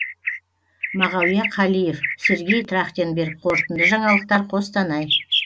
мағауия қалиев сергей трахтенберг қорытынды жаңалықтар қостанай